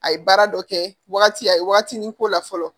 A ye baara dɔ kɛ waagati a ye waagatinin k'o la fɔlɔ